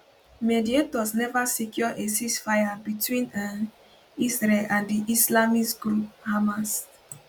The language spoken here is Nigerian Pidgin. mediators neva secure a ceasefire between um israel and di islamist group hamas